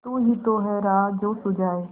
तू ही तो है राह जो सुझाए